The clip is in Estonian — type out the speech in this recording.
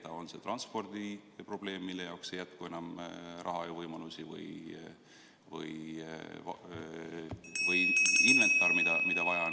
See võib olla transpordi probleem, mille jaoks raha ja võimalusi enam ei jätku, või inventar, mida on vaja.